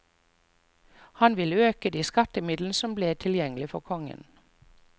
Han ville øke de skattemidlene som ble tilgjengelige for kongen.